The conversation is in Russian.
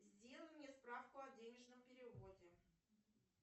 сделай мне справку о денежном переводе